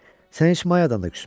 Sən heç Mayadan da küsmə.